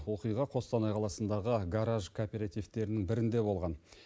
оқиға қостанай қаласындағы гараж кооперативтерінің бірінде болған